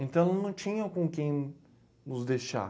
Então, ela não tinha com quem nos deixar.